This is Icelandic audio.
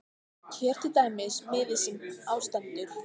Hér er til dæmis miði sem á stendur